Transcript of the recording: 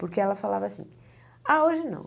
Porque ela falava assim, ah, hoje não.